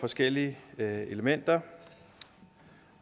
forskellige elementer